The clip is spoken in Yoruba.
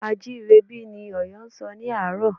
A à jí ire bí? Ni Ọ̀yọ́ a sọ ní àárọ̀